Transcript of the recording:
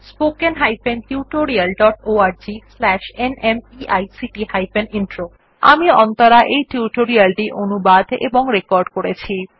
spoken hyphen tutorial dot org slash NMEICT hyphen intro আমি অন্তরা এই tutorial টি অনুবাদ এবং রেকর্ড করেছি